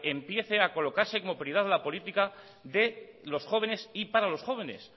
empiece a colocarse como prioridad la política de los jóvenes y para los jóvenes